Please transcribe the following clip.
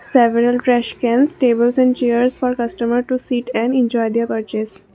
several trash cans tables and chairs for customer to seat and enjoy their purchase.